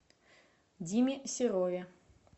диме серове